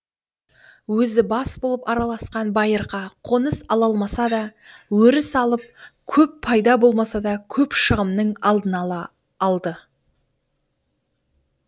өзі бас болып араласқан байырқа қоныс ала алмасада өріс алып көп пайда болмаса да көп шығымның алдын ала алды